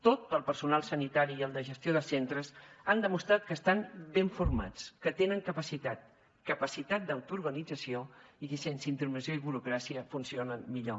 tot el personal sanitari i el de gestió de centres han demostrat que estan ben formats que tenen capacitat capacitat d’autoorganització i que sense intervenció i burocràcia funcionen millor